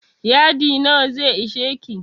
Yadi nawa zai isheki?